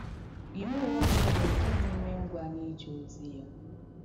Ị̀ hụ́wọ̀ mmadụ nke na-èmè ngwà n’ījẹ́ ozí yà?